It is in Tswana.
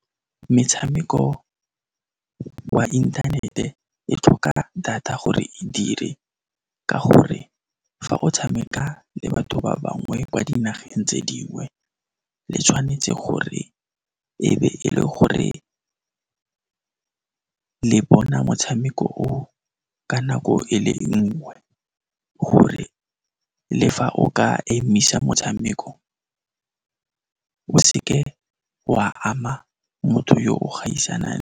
Metshameko wa inthanete e tlhoka data gore e dire ka gore fa o tshameka le batho ba bangwe kwa dinageng tse dingwe, le tshwanetse gore e be e le gore le bona motshameko o ka nako e le nngwe, gore le fa o ka emisa motshameko, o seke wa ama motho yo o gaisanang.